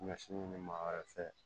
Ɲɔ sin ɲini ma wɛrɛ fɛ